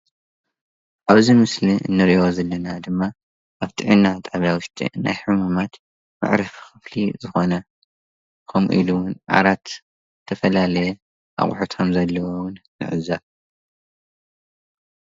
ኣብዚ ምስሊ እንሪኦ ዘለና ድማ አብ ጥዕና ጣብያ ውሽጢ ናይ ሕሙማት መዕረፊ ክፍሊ ዝኮነ ከምኡ ኢሉ እውን ዓራት ዝተፈላለየ አቁሕት ከም ዘለዎ እውን ንዕዘብ፡፡